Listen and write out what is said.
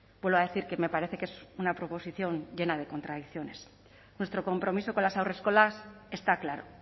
vuelvo a decir que me parece que es una proposición llena de contradicciones nuestro compromiso con las haurreskolas está claro